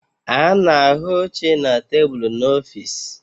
A na-ahụ oche na tebụlu n'ọfịs